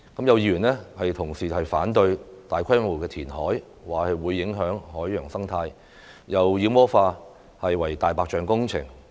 有議員同事反對大規模填海，說會影響海洋生態，又把"明日大嶼願景"妖魔化為"大白象"工程。